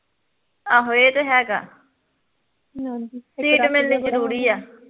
ਆਹੋ ਏਹ ਤੇ ਹੈਗਾ ਸੀਟ ਮਿਲਣੀ ਜਰੂਰੀ ਆ